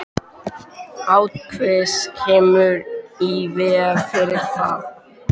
Háttvísin kemur í veg fyrir það.